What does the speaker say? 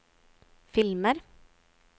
filmer